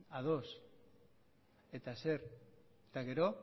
ados eta zer eta gero